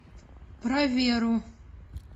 про веру